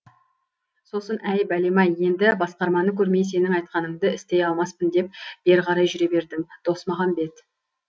сосын әй бәлем ай енді басқарманы көрмей сенің айтқаныңды істей алмаспын деп бері қарай жүре бердім досмағамбет